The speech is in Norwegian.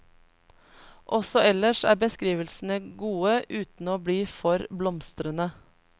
Også ellers er beskrivelsene gode uten å bli for blomstrende.